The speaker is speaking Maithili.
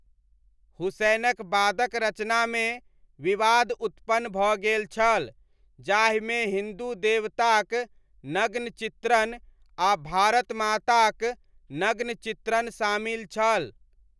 हुसैनक बादक रचनामे विवाद उत्पन्न भऽ गेल छल, जाहिमे हिन्दू देवताक नग्न चित्रण, आ भारत माताक नग्न चित्रण शामिल छल।